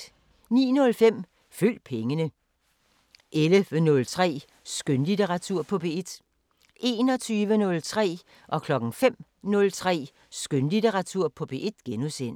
09:05: Følg pengene 11:03: Skønlitteratur på P1 21:03: Skønlitteratur på P1 * 05:03: Skønlitteratur på P1 *